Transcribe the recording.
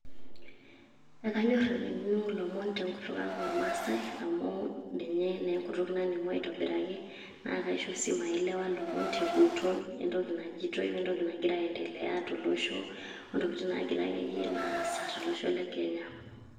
Akanyor nanu ainining'o ilomon tenkutuk ang' ormaasai, amu ninye naa enkutuk naning'u aitobiraki. Na kaaisho si maielewa lomon teguton, entoki najitoi entoki nagira aiendelea tolosho, ontokiting' nagira akeyie naa aasa tolosho le kenya.